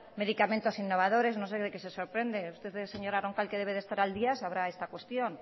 medicamentos innovadores no sé de qué se sorprende usted señora roncal que debe de estar al día sabrá esta cuestión